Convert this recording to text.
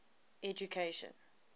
education